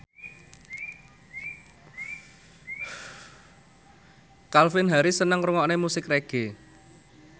Calvin Harris seneng ngrungokne musik reggae